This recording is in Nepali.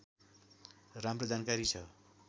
राम्रो जानकारी छ